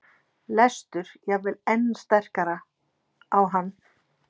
lestur jafnvel enn sterkar á hann.